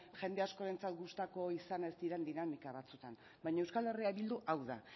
jende askorentzat gustatu izan ez diren dinamika batzuetan baina euskal herria bildu hau da